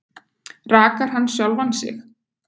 Rakar hann sjálfan sig?